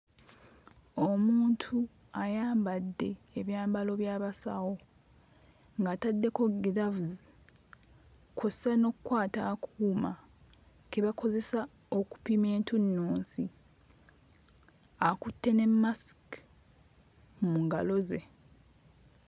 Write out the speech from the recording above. Omuntu ayambadde ebyambalo by'abasawo ng'ataddeko giraavuzi kw'ossa n'okkwata akuuma ke bakozesa okupima entunnunsi, akutte ne mmasiki mu ngalo ze.